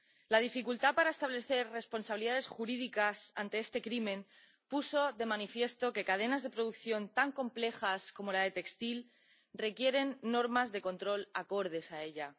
La dificultad para establecer responsabilidades jurídicas ante este crimen puso de manifiesto que cadenas de producción tan complejas como la del textil requieren normas de control acordes a ella.